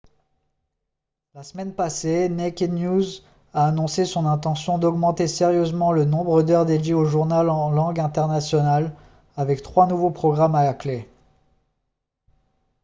la semaine passée naked news a annoncé son intention d'augmenter sérieusement le nombre d'heures dédiées au journal en langue internationale avec trois nouveaux programmes à la clé